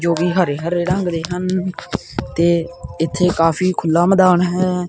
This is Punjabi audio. ਜੋ ਕਿ ਹਰੇ ਹਰੇ ਰੰਗ ਦੇ ਹਨ ਤੇ ਇੱਥੇ ਕਾਫੀ ਖੁੱਲਾ ਮੈਦਾਨ ਹੈ।